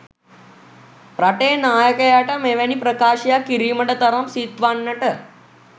රටේ නායකයාට මෙවැනි ප්‍රකාශයක් කිරීමට තරම් සිත් වන්නට